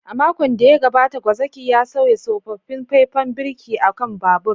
A makon da ya gabata, gwazakin ya sauya tsofaffin faifan birki a kan babur.